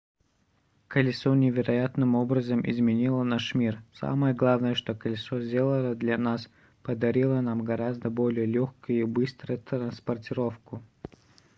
колесо невероятным образом изменило наш мир самое главное что колесо сделало для нас - подарило нам гораздо более лёгкую и быструю транспортировку